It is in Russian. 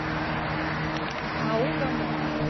ау гамора